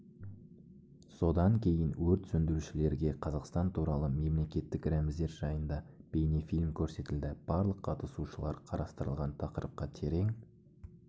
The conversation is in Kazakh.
содан кейін өрт сөндірушілерге қазақстан туралы мемлекеттік рәміздер жайында бейнефильм көрсетілді барлық қатысушылар қарастырылған тақырыпқа терең